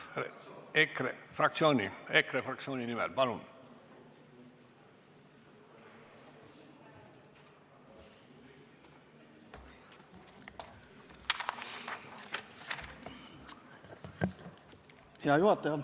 Hea juhataja!